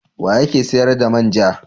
Wa yake sayar da man ja?